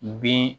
Bin